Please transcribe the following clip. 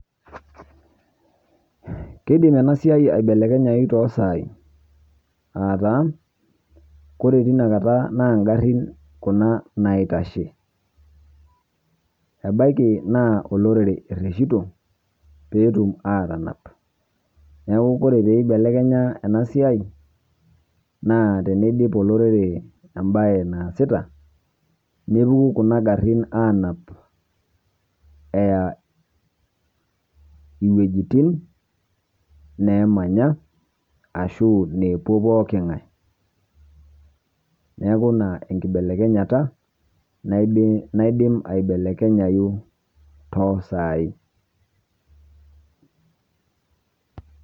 Keidiim ena siai eibelekenyayuu toosai ataa kore tenia nkaata na gaarin kuna naitashee. Ebaaki naa kulo lorere erujutoo pee etuum atanaap. Neeku kore pee eibelekenya ena siai naa tene ijiip lorere ebaye naasita nepukuu kuna gaarin anaap eyaa wuejitin neemanyaa ashuu nepoo pooki ng'aai. Neeku naa ekibelekenyata naiidiim aibelekenye toosai.